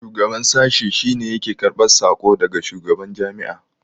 shugaban sashi shi ne yake karbar sako daga shugaban Jami'a